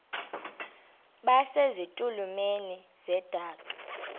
base zitulmeni zedaka